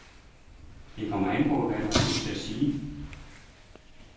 Det kommer an på, hvad du har lyst til at sige.